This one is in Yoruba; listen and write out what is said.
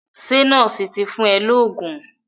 Ṣé nọ́ọ̀sì ti fún ẹ lóògùn?